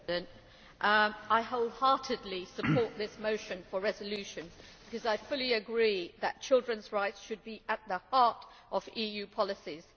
Mr President, I wholeheartedly support this motion for a resolution, because I fully agree that children's rights should be at the heart of EU policies.